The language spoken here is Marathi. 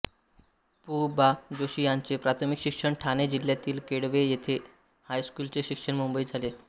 पु बा जोशी यांचे प्राथमिक शिक्षण ठाणे जिल्ह्यातील केळवे येथे आणि हायस्कूलचे शिक्षण मुंबईत झाले